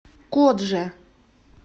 кодже